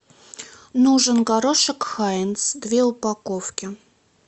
нужен горошек хайнц две упаковки